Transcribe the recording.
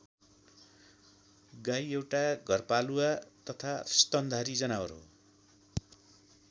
गाई एउटा घरपालुवा तथा स्तनधारी जनावर हो।